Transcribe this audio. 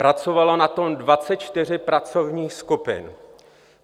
Pracovalo na tom 24 pracovních skupin.